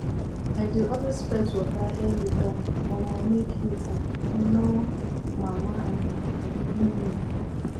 i dey always fetch water early um mor mor make heat um nor mama um me